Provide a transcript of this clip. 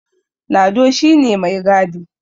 Lado shi ne mai gadi